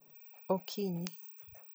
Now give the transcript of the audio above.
Okinyi